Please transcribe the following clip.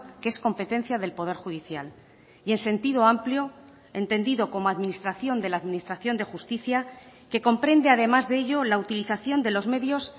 que es competencia del poder judicial y en sentido amplio entendido como administración de la administración de justicia que comprende además de ello la utilización de los medios